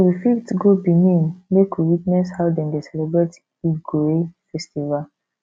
we fit go benin make we witness how dem dey celebrate igue festival